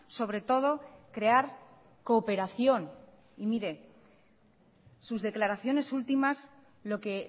sobre todo crear cooperación y mire sus declaraciones últimas lo que